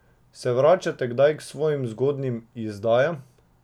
S vračate kdaj k svojim zgodnjim izdajam?